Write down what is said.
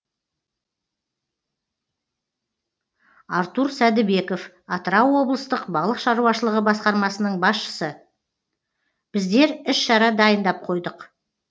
артур сәдібеков атырау облыстық балық шаруашылығы басқармасының басшысы біздер іс шара дайындап қойдық